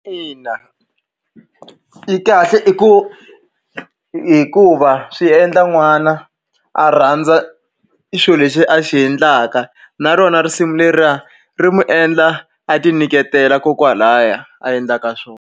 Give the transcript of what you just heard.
Ina i kahle i ku hikuva swi endla n'wana a rhandza i xilo lexi a xi endlaka na rona risimu leriya ri n'wi endla a ti nyiketela kokwalahaya a endlaka swona.